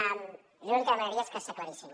jo l’únic que demanaria és que s’aclarissin